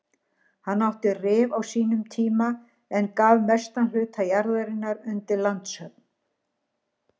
Hann átti Rif á sínum tíma en gaf mestan hluta jarðarinnar undir landshöfn.